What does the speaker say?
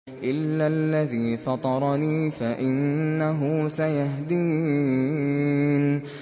إِلَّا الَّذِي فَطَرَنِي فَإِنَّهُ سَيَهْدِينِ